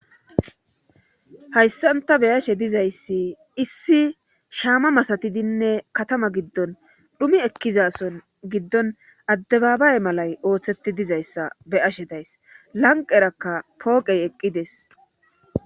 hayssanta beyashe dizayssi issi shaama masatidinne katama giddon dhumi ekkizason giddon addebaabay malay ooththeti dizayssa be ashe days lanqerakka pooqey eqqides